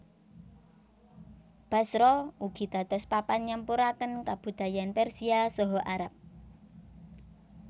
Basra ugi dados papan nyampuraken kabudayan Persia saha Arab